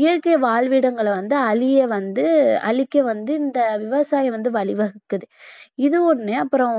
இயற்கை வாழ்விடங்களை வந்து அழிய வந்து அழிக்க வந்து இந்த விவசாயம் வந்து வழி வகுக்குது இது ஒண்ணு அப்புறம்